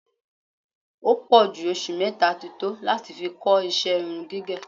Ó pọ̀ jù oṣù mẹ́ta ti tó láti fi kọ́ ìṣe irun gígẹ̀